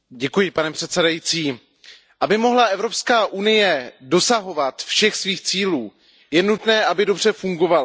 Pane předsedající, aby mohla Evropská unie dosahovat všech svých cílů, je nutné, aby dobře fungovala.